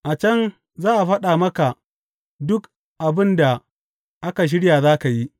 A can za a faɗa maka duk abin da aka shirya za ka yi.’